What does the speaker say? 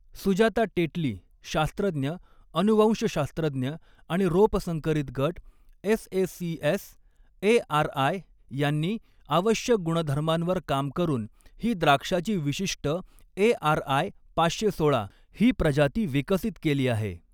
सुजाता टेटली, शास्त्रज्ञ, अनुवंशशास्त्रज्ञ आणि रोप संकरित गट एसएसीएस एआरआय, यांनी आवश्यक गुणधर्मांवर काम करून ही द्राक्षाची विशिष्ट एआरआय पाचशे सोळा ही प्रजाती विकसित केली आहे.